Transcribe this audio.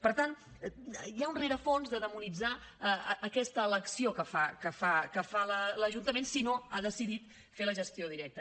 per tant hi ha un rerefons de demonitzar aquesta elecció que fa l’ajuntament si no ha decidit fer la gestió directa